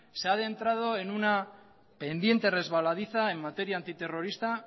se ha adentrado en una pendiente resbaladiza en materia antiterrorista